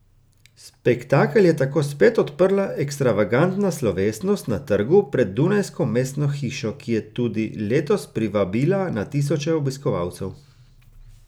Spektakel je tako spet odprla ekstravagantna slovesnost na trgu pred dunajsko mestno hišo, ki je tudi letos privabila na tisoče obiskovalcev.